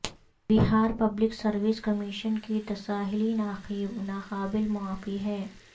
بہار public service commission کی تساہلی ناقابل معافی ہے